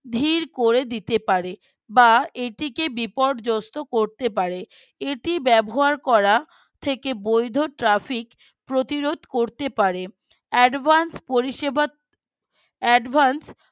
ধীর করে দিতে পারে বা এইটিকে বিপর্যস্ত করতে পারে এটি ব্যবহার করা থেকে বৈধ traffic প্রতিরোধ করতে পারে advance পরিষেবা advance